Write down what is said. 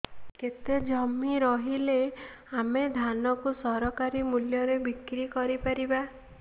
କେତେ ଜମି ରହିଲେ ଆମେ ଧାନ କୁ ସରକାରୀ ମୂଲ୍ଯରେ ବିକ୍ରି କରିପାରିବା